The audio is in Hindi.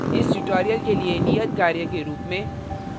इस tutorial के लिए नियतकार्य के रूप में